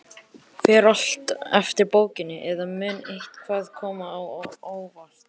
Fer allt eftir bókinni, eða mun eitthvað koma á óvart?